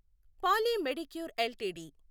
poly Medicure LTD